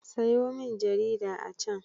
Sayo min jarida a can.